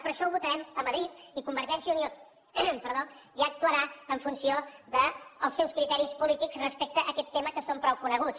però això ho votarem a madrid i convergència i unió ja actuarà en funció dels seus criteris polítics respecte a aquest tema que són prou coneguts